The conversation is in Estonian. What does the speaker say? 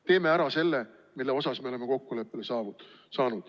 Teeme ära selle, milles me oleme kokkuleppele saanud.